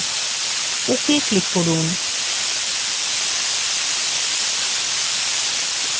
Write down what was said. ok click করুন